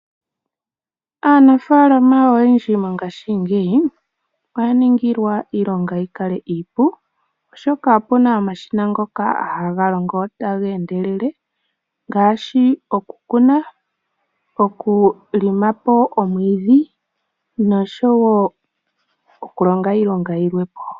Aanafaalama oyendji mongaashingeyi oya ningilwa, iilonga yi kale iipu, oshoka opuna omashina ngoka ha ga longo ta ga endelele, ngaashi oku Kuna, oku longa po omwiidhi, nosho woo oku longa iilonga yimwepo.